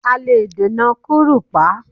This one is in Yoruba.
A lè dènà kúrùpá